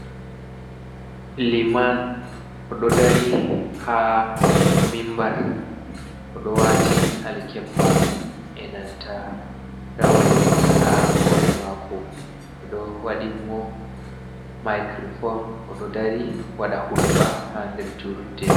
Liman oɗo dari ha mimbar oɗo wati alkebba e nanta rawani ha hore mako, be do wadin'mo mikirofom. Oɗo dari wada hudɓa ha der julurɗe.